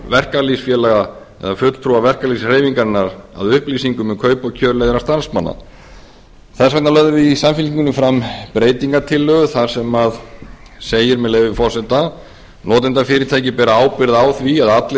verkalýðsfélaga eða fulltrúa verkalýðshreyfingarinnar að upplýsingum um kaup og kjör leigðra starfsmanna þess vegna lögðum við í samfylkingunni fram breytingartillögu þar sem segir með leyfi forseta notendafyrirtækið ber ábyrgð á því að allir